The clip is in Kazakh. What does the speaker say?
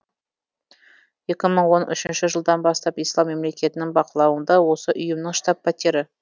екі мың он үшінші жылдан бастап ислам мемлекетінің бақылауында осы ұйымның штаб пәтері